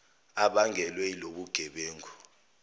ebangelwe ilobuge bengu